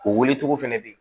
O wele cogo fɛnɛ bɛ yen